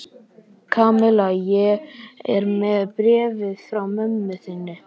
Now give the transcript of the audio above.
Kamilla, ég er með bréfið frá mömmu þinni.